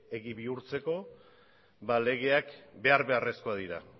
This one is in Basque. egi bihurtzeko legeak behar beharrezkoak dira